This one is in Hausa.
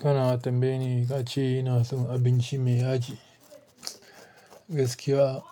Kana tambayi ni ka ce ina son abinci me yaji, gaskiya